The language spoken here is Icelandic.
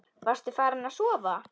Varstu farin að sofa?